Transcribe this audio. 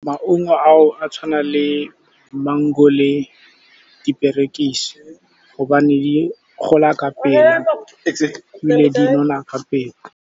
Maungo a o a tshwana le mango le diperekisi, gobane di gola ka pele ebile di nona ka pele.